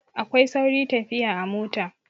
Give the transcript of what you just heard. Akwai sauri tafiya a mota.